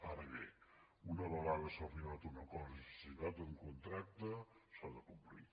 ara bé una vegada s’ha arribat a un acord i s’ha signat un contracte s’ha de complir